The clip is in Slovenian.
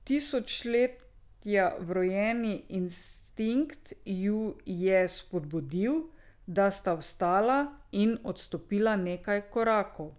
Tisočletja vrojeni instinkt ju je spodbudil, da sta vstala in odstopila nekaj korakov.